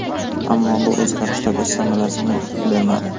Ammo bu o‘zgarishlar o‘z samarasini bermadi.